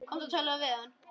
Komdu og talaðu við hann!